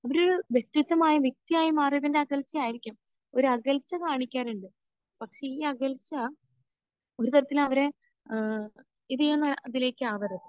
ഒരു വ്യക്തിത്വമായി വ്യക്തിയായി മാറിയതിന്റെ അകൽച്ചയായിരിക്കാം. ഒരകൽച്ച കാണിക്കാറുണ്ട്. പക്ഷെ ഈ അകൽച്ച ഒരു തരത്തിൽ അവരെ ഏഹ് ഇത് ചെയ്യുന്ന ഇതിലേക്ക് ആവരുത്.